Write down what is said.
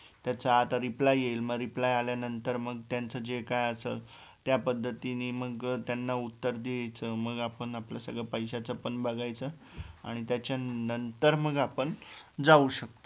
त्याचा आता REPLY येईल मग REPLY आल्या नंतर मग त्यांचं जे काय असल त्या पद्धतींनी मग त्याना उत्तर द्यायचं मग आपण आपलं सगळं पैशाचं पण बघायचं आणि त्याच्या नंतर मग आपण जाऊ शकतो